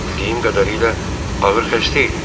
Axı bildiyim qədərilə ağır xəstə idi.